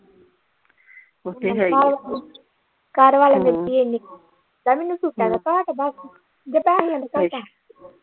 ਓਥੇ ਹੈਗੀ ਆ ਲੈ ਮੈਨੂੰ ਸੂਟਾਂ ਦਾ ਘਾਟ ਆ ਦੱਸ ਜਾਂ ਪੈਹਿਆਂ ਦੀ ਭੁੱਖ ਆ।